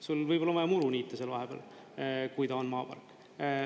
Sul on vaja muru niita seal vahepeal, kui ta on maapark.